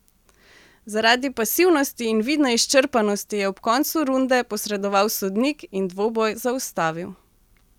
Zaradi pasivnosti in vidne izčrpanosti je ob koncu runde posredoval sodnik in dvoboj zaustavil.